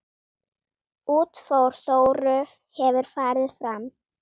Útför Þóru hefur farið fram.